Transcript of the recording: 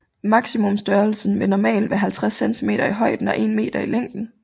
Maksimumstørrelsen vil normalt være 50 cm i højden og 1 meter i længden